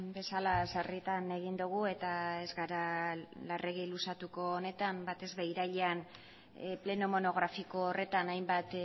bezala sarritan egin dugu eta ez gara larregi luzatuko honetan batez ere irailean pleno monografiko horretan hainbat